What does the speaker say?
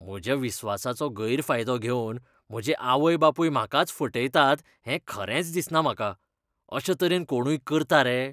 म्हज्या विस्वासाचो गैरफायदो घेवन म्हजे आवय बापूय म्हाकाच फटयतात हें खरेंच दिसना म्हाका. अशे तरेन कोणूय करता रे!